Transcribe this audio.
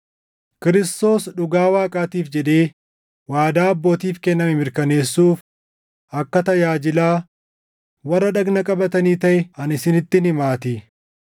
Kiristoos dhugaa Waaqaatiif jedhee waadaa abbootiif kenname mirkaneessuuf akka tajaajilaa warra dhagna qabatanii taʼe ani isinittin himaatii;